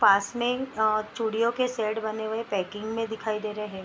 पास में अ चूड़ियों के सेट बने हुए पेकिंग में दिखाई दे रहे हैं।